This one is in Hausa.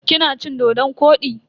Kina cin-dodon kwodi?